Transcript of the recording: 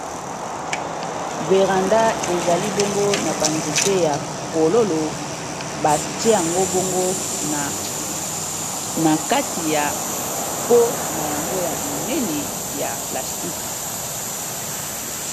Véranda ezali bongo na banzete ya fololo batia yango boongo na kati ya po na yango ya monene ya plastique